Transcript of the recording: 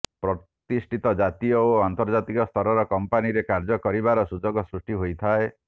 ପ୍ରତିଷ୍ଠିତ ଜାତୀୟ ଓ ଅନ୍ତର୍ଜାତୀୟ ସ୍ତରର କମ୍ପାନୀ ରେ କାର୍ଯ୍ୟ କରିବାର ସୁଯୋଗ ସୃଷ୍ଟି ହୋଇଥାଏ